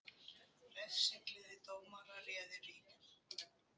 Refsigleði dómara réði ríkjum